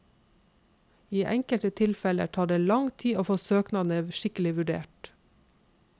I enkelte tilfeller tar det lang tid å få søknadene skikkelig vurdert.